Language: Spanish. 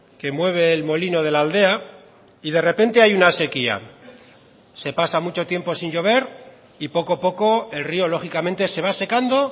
que mueve el molino de la aldea y de repente hay una sequía se pasa mucho tiempo sin llover y poco a poco el río lógicamente se va secando